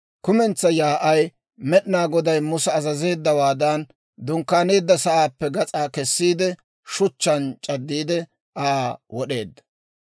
Kumentsaa yaa'ay Med'inaa Goday Musa azazeeddawaadan, dunkkaaneedda sa'aappe gas'aa kessiide, shuchchaan c'addiide Aa wod'eedda.